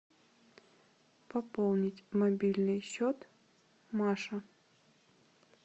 пополнить мобильный счет маша